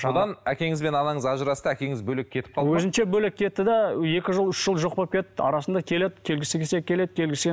содан әкеңіз бен анаңыз ажырасты әкеңіз бөлек кетіп қалды өзінше бөлек кетті де екі жыл үш жыл жоқ болып кетті арасында келеді келгісі келсе келеді